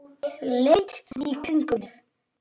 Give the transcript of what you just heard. Ég leit í kringum mig.